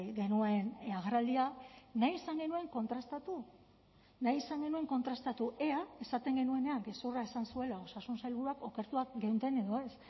genuen agerraldia nahi izan genuen kontrastatu nahi izan genuen kontrastatu ea esaten genuenean gezurra esan zuela osasun sailburuak okertuak geunden edo ez